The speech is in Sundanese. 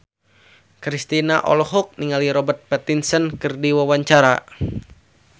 Kristina olohok ningali Robert Pattinson keur diwawancara